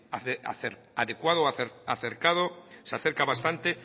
acercado o adecuado se acerca bastante